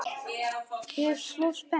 Ég er svo spennt.